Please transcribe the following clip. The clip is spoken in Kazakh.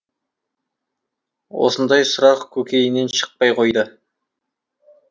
осындай сұрақ көкейінен шықпай қойды